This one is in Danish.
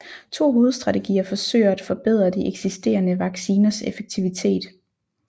To hovedstrategier forsøger at forbedre de eksisterende vacciners effektivitet